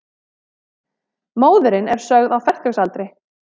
Móðirin er sögð á fertugsaldri